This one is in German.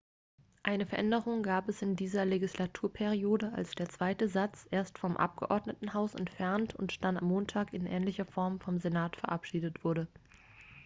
eine veränderung gab es in dieser legislaturperiode als der zweite satz erst vom abgeordnetenhaus entfernt und dann am montag in ähnlicher form vom senat verabschiedet wurde